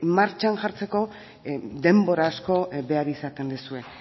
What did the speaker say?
martxan jartzeko denbora asko behar izaten duzue